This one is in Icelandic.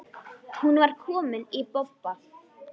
Hún var komin í bobba.